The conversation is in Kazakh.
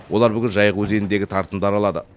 олар бүгін жайық өзеніндегі тартымды аралады